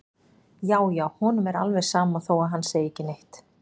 Já, já, honum er alveg sama þó að hann segi ekki neitt!